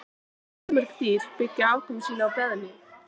Fjölmörg dýr byggja afkomu sína á beðmi.